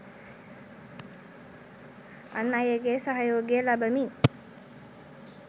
අන් අයගේ සහයෝගය ලබමින්